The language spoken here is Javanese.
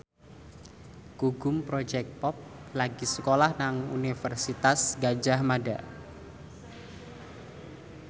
Gugum Project Pop lagi sekolah nang Universitas Gadjah Mada